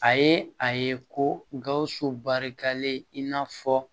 A ye a ye ko gawusu barikalen in n'a fɔ